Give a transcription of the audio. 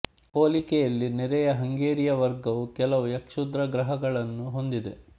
ಹೋಲಿಕೆಯಲ್ಲಿ ನೆರೆಯ ಹಂಗೇರಿಯ ವರ್ಗವು ಕೆಲವು ಯ ಕ್ಷುದ್ರಗ್ರಹಗಳನ್ನು ಹೊಂದಿದೆ